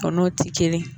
Kan'o ti kelen ye